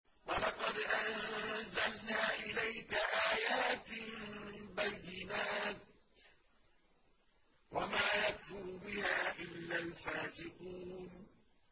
وَلَقَدْ أَنزَلْنَا إِلَيْكَ آيَاتٍ بَيِّنَاتٍ ۖ وَمَا يَكْفُرُ بِهَا إِلَّا الْفَاسِقُونَ